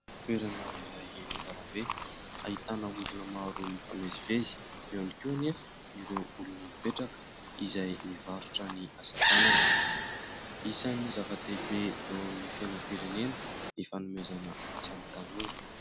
Toerana iray eny an-dalambe, ahitana olona maro mifamezivezy, eo ihany koa anefa ireo olona mipetraka izay mivarotra ny asatanany. Isan'ny zava-dehibe eo amin'ny fiainam-pirenena ny fanomezana asa ny tanora.